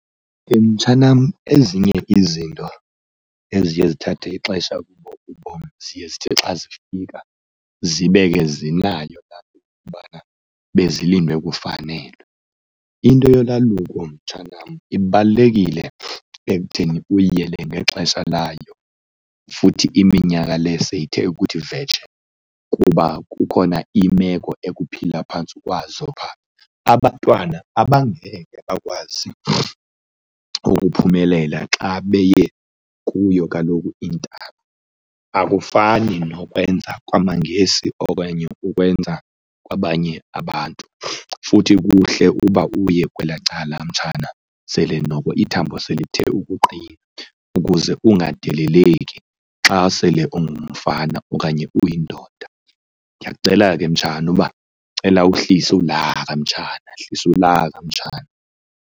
Mtshanam ezinye izinto eziye zithathe ixesha ubom ziye zithi xa zifika zibe ke zinayo laa nto yokubana bezilindwe kufanelwe. Into yolwaluko mtshanam ibalulekile ekutheni uyiyele ngexesha layo futhi iminyaka le seyithe ukuthi vetshe kuba kukhona imeko ekuphilwa phantsi kwazo phaa. Abantwana abangekhe bakwazi ukuphumelela xa beye kuyo kaloku intaba, akufani nokwenza kwamaNgesi okanye ukwenza kwabanye abantu futhi kuhle uba uye kwelaa cala mtshana sele noko ithambo selithe ukuqina ukuze ungadeleleki xa sele ungumfana okanye uyindoda. Ndiyakucela ke mtshana uba, cela uhlise ulaka mtshana, hlisa ulaka mtshana.